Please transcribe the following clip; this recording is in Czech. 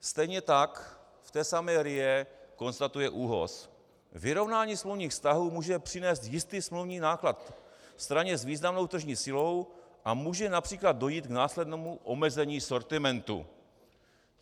Stejně tak v té samé RIA konstatuje ÚOHS: "Vyrovnání smluvních vztahů může přinést jistý smluvní náklad straně s významnou tržní silou a může například dojít k následnému omezení sortimentu."